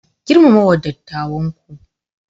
Girmama wa dattawanku.